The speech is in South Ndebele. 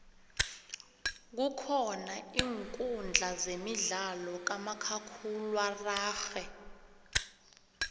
kukhona iinkudla zemidlalo khamakhakhulwararhe